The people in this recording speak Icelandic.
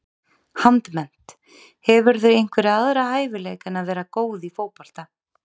Handmennt Hefurðu einhverja aðra hæfileika en að vera góð í fótbolta?